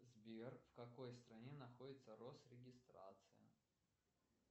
сбер в какой стране находится росрегистрация